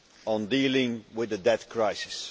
on dealing with the debt crisis.